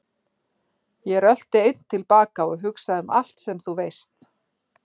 Ég rölti einn til baka og hugsa um allt sem þú veist.